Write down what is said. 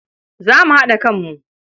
Za mu haɗa kanmu.